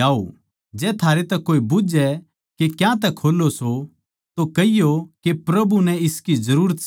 जै थारै तै कोए बुझ्झै के क्यातै खोल्लो सो तो कहियो के प्रभु नै इसकी जरूरत सै